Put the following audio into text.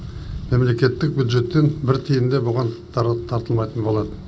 мемлекеттік бюджеттен бір тиын да бұған тартылмайтын болады